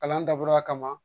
Kalan dabɔra a kama